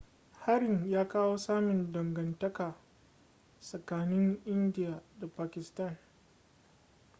harin ya kawo tsamin dangantaka tsakanin india da pakistan